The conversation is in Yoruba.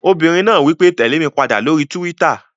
Obìnrin náà wí pé "tèlé mi padà lórí túwítà!"